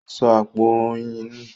Ó sọ àpò oyin nù.